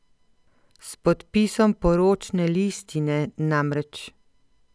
S podpisom poročne listine namreč.